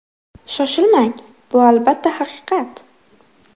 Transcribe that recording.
Shoshilmang, bu albatta haqiqat.